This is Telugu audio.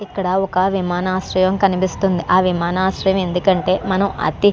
ఇక్కడ ఒక విమానాశ్రయం కనిపిస్తుంది అవి మన ఆశ్రయం ఎందుకంటే మనం --